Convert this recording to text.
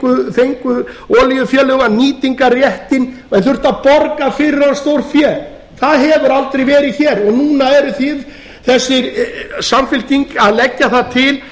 þá fengu olíufélög nýtingarréttinn en þurftu að borga fyrir hann stórfé það hefur aldrei verið hér og núna er þessi samfylking að leggja það til